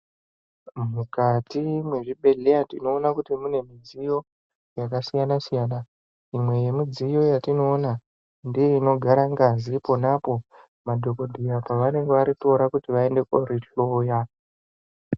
Mukati mwezvibhedhleya tinoona kuti mune midziyo yakasiyana-siyana. Imwe yemidziyo yatinoona ndeinogara ngazi ponapo madhogodheya pavanenge varitora kuti vaende kori hloya.